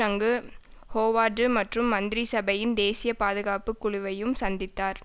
அங்கு ஹோவர்டு மற்றும் மந்திரிசபையின் தேசிய பாதுகாப்பு குழுவையும் சந்தித்தார்